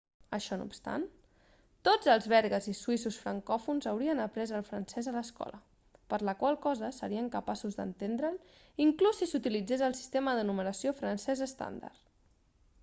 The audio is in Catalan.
això no obstant tots els belgues i suïssos francòfons haurien après el francès a l'escola per la qual cosa serien capaços d'entendre'l inclús si s'utilitzés el sistema de numeració francès estàndard